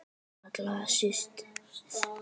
Allra síst ég!